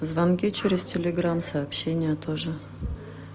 звонки через телеграм сообщение о тоже